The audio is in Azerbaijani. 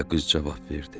deyə qız cavab verdi.